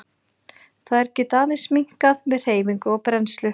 Þær geta aðeins minnkað með hreyfingu og brennslu.